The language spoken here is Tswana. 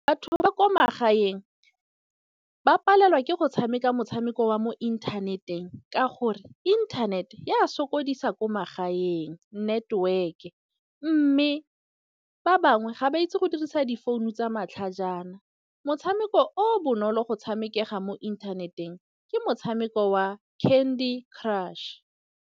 Batho ba ba kwa magaeng ba palelwa ke go tshameka motshameko wa mo inthaneteng. Ka gore inthanete ya sokodisa ko magaeng network. Mme ba bangwe ga ba itse go dirisa difounu tsa matlhajana. Motshameko o bonolo go tshamekela mo inthaneteng ke motshameko wa Candy Crush.